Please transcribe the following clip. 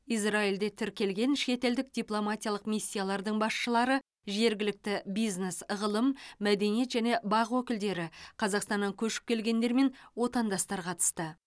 израильде тіркелген шетелдік дипломатиялық миссиялардың басшылары жергілікті бизнес ғылым мәдениет және бақ өкілдері қазақстаннан көшіп келгендер мен отандастар қатысты